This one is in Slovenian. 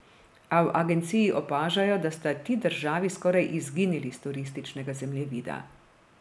A v agenciji opažajo, da sta ti državi skoraj izginili s turističnega zemljevida.